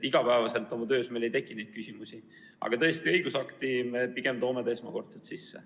Iga päev meil oma töös neid küsimusi ei teki, aga tõesti õigusakti toome need mõisted esmakordselt sisse.